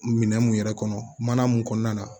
Minɛn mun yɛrɛ kɔnɔ mana mun kɔnɔna na